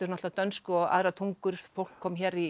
á dönsku og aðrar tungur fólk kom hér